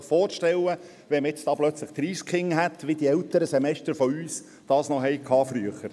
Sie können sich vorstellen, wenn man da plötzlich 30 Kinder hätte – so, wie es die älteren Semester unter uns früher noch hatten …